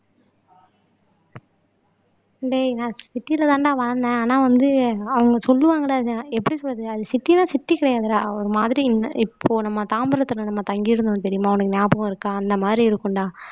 டேய் நான் சிட்டிலதாண்டா வளர்ந்தேன் ஆனா வந்து அவங்க சொல்லுவாங்கடா இதை எப்படி சொல்றது அது சிட்டின்னா சிட்டி கிடையாதுடா ஒரு மாதிரி இப்போ நம்ம தாம்பரத்திலே நம்ம தங்கி இருந்தோம் தெரியுமா உனக்கு ஞாபகம் இருக்கா அந்த மாதிரி இருக்கும்டா